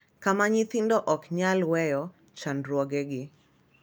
Kama nyithindo ok nyal weyo chandruogegi .